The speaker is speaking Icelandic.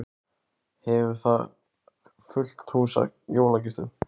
Hefur þar fullt hús af jólagestum.